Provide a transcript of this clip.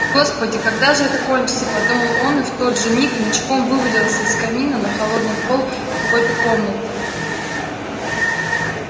господи когда же это кончится подумал он и в тот же миг ничком вывалился из камина на холодный пол какой-то комнаты